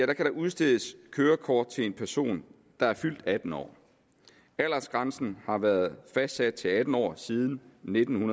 der udstedes kørekort til en person der er fyldt atten år aldersgrænsen har været fastsat til atten år siden nitten